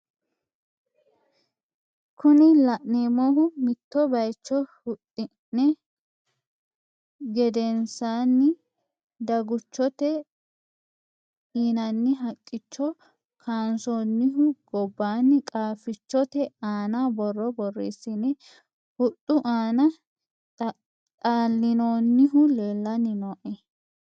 Kuni la'neemohu mitto bayicho hudhine giddosiinni daguchote yinayi haqqicho kaansoonihu gobbaanni qaafffichote aana borro borreesine hudhu aana dhallinoonnihu leellanni no.